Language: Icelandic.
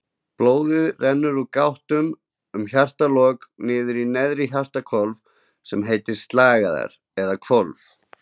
Blóðið rennur úr gáttunum um hjartalokur niður í neðri hjartahólfin sem heita sleglar eða hvolf.